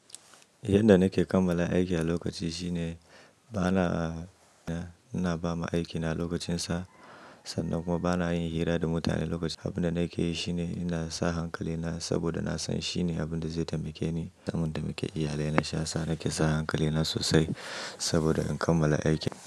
Inda nake kammala aiki a lokaci shine bana, ina bama aikina lokacin sa sannan kuma bana yin hira da mutane lokaci. Abin da nake yi shine ina sa hankali na saboda na san shine abin da zai taimake ni don taimake iyalina. Shi ya sa nake sa hankali na sosai saboda in kammala aikin.